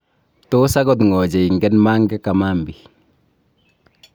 Tos akot ng'o cheingen Mange Kamambi?